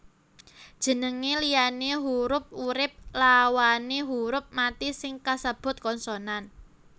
Jeneng liyane hurup urip lawané huruf mati sing kasebut konsonan